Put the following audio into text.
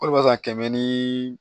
O de b'a san kɛmɛ ni